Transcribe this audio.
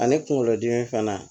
Ani kunkolodimi fana